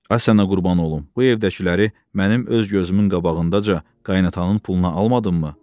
Ay sənə qurban olum, bu evdəkiləri mənim öz gözümün qabağındaca qaynatamın puluna almadınmı?